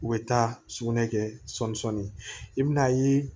U bɛ taa sugunɛ kɛ sɔɔni sɔɔni i bɛ na ye